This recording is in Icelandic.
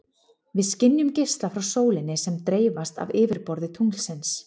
Við skynjum geisla frá sólinni sem dreifast af yfirborði tunglsins.